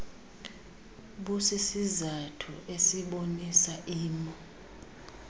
busisizathu esibonisa imo